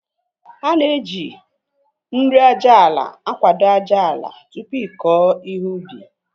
Ana eji nri aja ala akwado ájáala tupu ịkọ ihe ubi